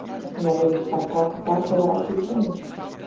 En verðum við ekki bara að taka það þegar að því kemur?